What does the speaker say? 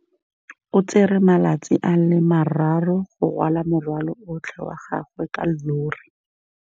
O tsere malatsi a le marraro go rwala morwalo otlhe wa gagwe ka llori.